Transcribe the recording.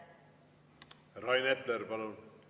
Rain Epler, palun!